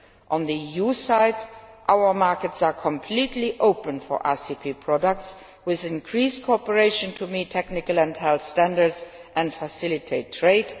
On the EU side, our markets are completely open for ACP products, with increased cooperation to meet technical and health standards and facilitate trade.